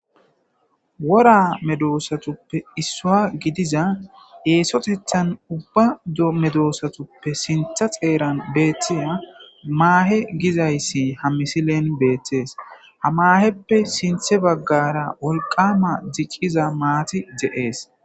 wora medoosatuppe issua gidiza eesotethan ubba dmedoossatuppe sintha xeeran beethtiya maahe gizayssi ha misilen beettees hamaheppe sinthe baggara wolqama jicciza maati de7ees